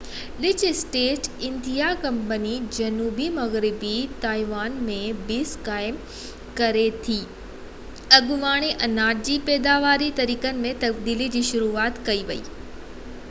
1624 ۾ Dutch East India company جنوبي مغربي Taiwan ۾ base قائم ڪري ٿي اڳوڻي اناج جي پيداواري طريقن ۾ تبديلي جي شروعات ڪئي ۽ ان جي چانورن ۽ ڪمند جي پلانٽيشن لاءِ چيني مزدورن کي ڪم تي لڳايو